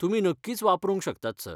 तुमी नक्कीच वापरूंक शकतात, सर.